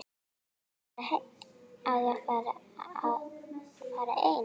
Á ég að fara einn?